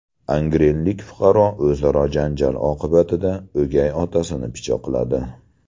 Angrenlik fuqaro o‘zaro janjal oqibatida o‘gay otasini pichoqladi.